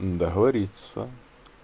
договориться